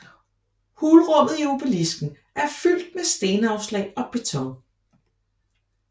Hulrummet i obelisken er fyldt med stenafslag og beton